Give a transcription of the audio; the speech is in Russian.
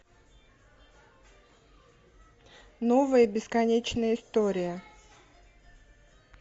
новая бесконечная история